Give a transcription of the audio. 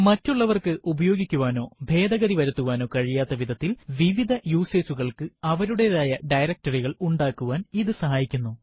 മറ്റുള്ളവർക്ക് ഉപയോഗിക്കുവാനോ ഭേദഗതി വരുത്തുവാനോ കഴിയാത്ത വിധത്തിൽ വിവിധ യൂസർ കൾക്ക് അവരുടെതായ directory കൾ ഉണ്ടാക്കുവാൻ ഇത് സഹായിക്കുന്നു